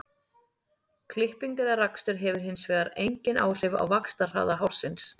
Klipping eða rakstur hefur hins vegar engin áhrif á vaxtarhraða hársins.